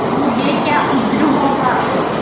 मुझे क्या उज्र होगा